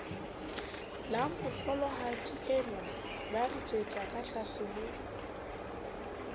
lamohlolohadienwa ba ritsetsa katlase ho